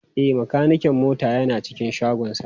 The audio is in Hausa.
E, makanikin mota yana cikin shagonsa.